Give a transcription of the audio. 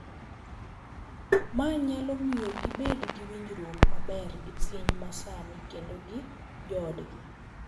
Ma nyalo miyo gibed gi winjruok maber gi piny ma sani kendo gi joodgi.